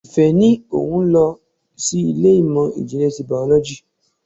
Ìfẹ́ ní òun lọ sí ilé ìmọ̀ ìjìnlẹ̀ ti biology.